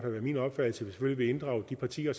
min opfattelse selvfølgelig inddrage de partier